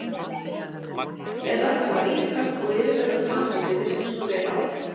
Eða er það ískalt og yfirvegað fasið sem virkar svona vel á hann?